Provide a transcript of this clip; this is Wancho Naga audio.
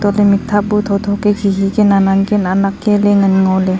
chatley mikthap bu thotho kia khikhi kia nannan kia naknak kialey ngan ngoley.